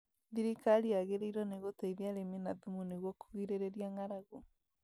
Thirikarĩ yagĩrirwo nĩ gũteithia arĩmi na thumu nĩguo kũgirĩrĩria ngaragu